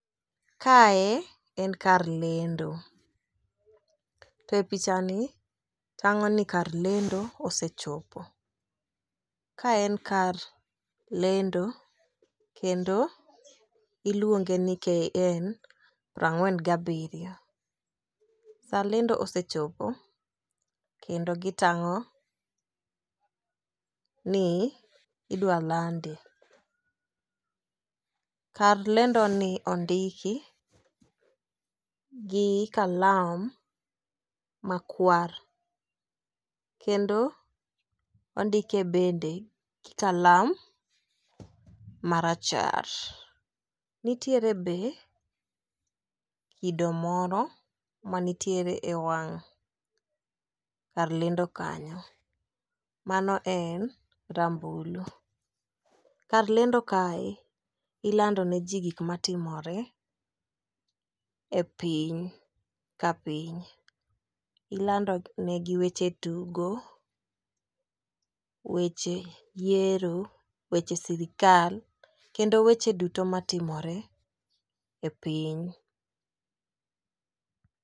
Kae en kar lendo. To e pichani, tang'o ni kar lendo osechopo. Kae en kar lendo kendo iluonge ni, KN prang'wen gi abiriyo. Saa lendo osechopo kendo gitang'o ni idwa lande. Kar lendoni ondiki gi kalam makwar kendo ondike bende gi kalam marachar. Nitiere be, kido moro manitiere e wang' kar lendo kanyo. Mano en, rambulu. Kar lendo kae, ilando ne ji gik matimore e piny ka piny. Ilandonegi weche tugo, weche yiero ,weche sirikal, kendo weche duto matimore e piny.